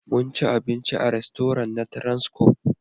Mun ci abinci a rastoran na transcorp